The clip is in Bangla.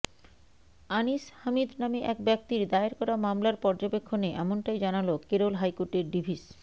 আনিস হামিদ নামে এক ব্যক্তির দায়ের করা মামলার পর্যবেক্ষণে এমনটাই জানাল কেরল হাইকোর্টের ডিভিশ